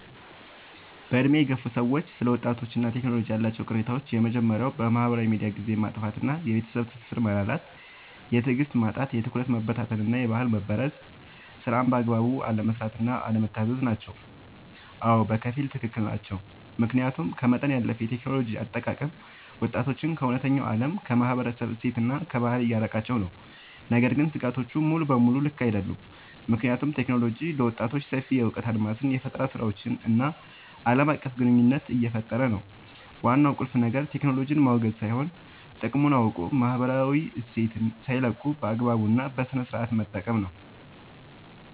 በዕድሜ የገፉ ሰዎች ስለ ወጣቶችና ቴክኖሎጂ ያላቸው ቅሬታዎች የመጀመርያው በማህበራዊ ሚዲያ ጊዜን ማጥፋት እና የቤተሰብ ትስስር መላላት። የትዕግስት ማጣት፣ የትኩረት መበታተን እና የባህል መበረዝ። ስራን በአግባቡ አለመስራት እና አለመታዘዝ ናቸው። አዎ፣ በከፊል ትክክል ናቸው። ምክንያቱም ከመጠን ያለፈ የቴክኖሎጂ አጠቃቀም ወጣቶችን ከእውነተኛው ዓለም፣ ከማህበረሰብ እሴትና ከባህል እያራቃቸው ነው። ነገር ግን ስጋቶቹ ሙሉ በሙሉ ልክ አይደሉም፤ ምክንያቱም ቴክኖሎጂ ለወጣቶች ሰፊ የእውቀት አድማስን፣ የፈጠራ ስራዎችን እና ዓለም አቀፍ ግንኙነት እየፈጠረ ነው። ዋናው ቁልፍ ነገር ቴክኖሎጂን ማውገዝ ሳይሆን፣ ጥቅሙን አውቆ ማህበራዊ እሴትን ሳይለቁ በአግባቡ እና በስነሥርዓት መጠቀም ነው።